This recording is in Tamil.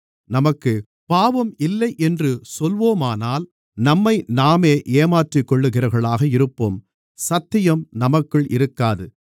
நமக்குப் பாவம் இல்லை என்று சொல்வோமானால் நம்மைநாமே ஏமாற்றிக்கொள்ளுகிறவர்களாக இருப்போம் சத்தியம் நமக்குள் இருக்காது